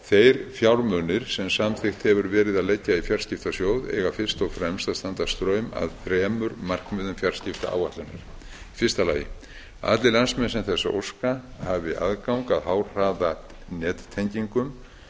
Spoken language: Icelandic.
þeir fjármunir sem samþykkt hefur verið að leggja í fjarskiptasjóð eiga fyrst og fremst að standa straum af þremur markmiðum fjarskiptaáætlunar eitt að allir landsmenn sem þess óska hafi aðgang að háhraðanettengingum